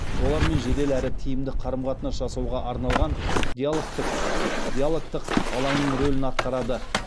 олармен жедел әрі тиімді қарым қатынас жасауға арналған диалогтық алаңның рөлін атқарады